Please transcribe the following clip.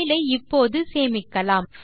file ஐ இப்போது சேமிக்கலாம்